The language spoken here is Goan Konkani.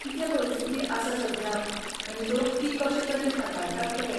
कितें परिस्थिती आसा सध्या आनी लोक ती कशे तरेन हाताळटात तें.